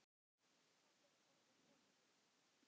Ísland er orðið of dýrt.